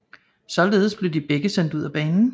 Således blev de begge sendt ud af banen